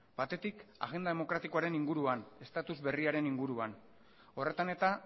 batetik agenda demokratikoaren inguruan status berriaren inguruan horretan eta